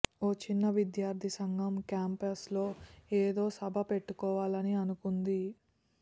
ఓ చిన్న విద్యార్థి సంఘం క్యాంపస్లో ఏదో సభ పెట్టుకోవాలని అనుకుంది